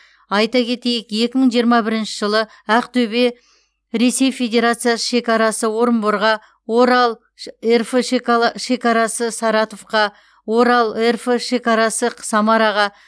айта кетейік екі мың жиырма бірінші жылы ақтөбе ресей федерацисы шекарасы орынборға орал рф шекарасы саратовқа орал рф шекарасы самараға